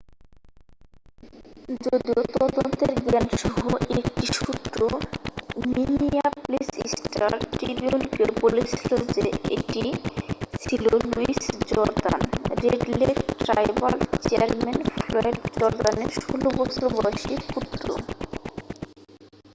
যদিও তদন্তের জ্ঞানসহ একটি সূত্র মিনিয়াপলিস স্টার-ট্রিবিউনকে বলেছিল যে এটি ছিল Lewis Jordan Red Lake tribal chairman Floyd জর্দানের 16 বছর বয়সী পুত্র